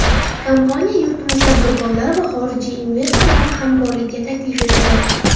Kompaniya yurtimiz tadbirkorlari va xorijiy investorlarni hamkorlikka taklif etadi.